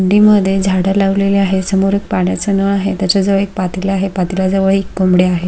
कुंडी मध्ये झाड लावलेली आहे समोर पाण्याच नळ आहे तेच्या जवळ एक पातेल आहे पातेल्या जवळ एक कुंडी आहे.